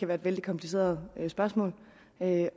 være et vældig kompliceret spørgsmål